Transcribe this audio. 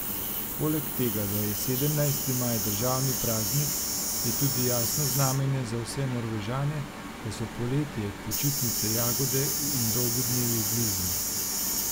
Poleg tega, da je sedemnajsti maj državni praznik, je tudi jasno znamenje za vse Norvežane, da so poletje, počitnice, jagode in dolgi dnevi blizu.